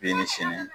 Bi ni sini